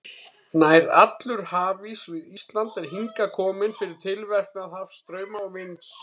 Nær allur hafís við Ísland er hingað kominn fyrir tilverknað hafstrauma og vinds.